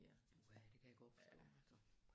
Puha det kan jeg godt forstå altså